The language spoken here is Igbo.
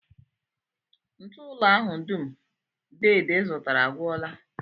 Ntụụlọ ahụ dum deede zụtara agwụla